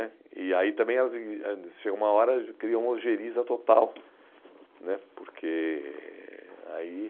né. E aí também elas chega em uma hora criam uma algeriza total, né, porque, aí...